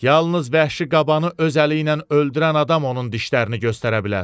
Yalnız vəhşi qabanı öz əliylə öldürən adam onun dişlərini göstərə bilər.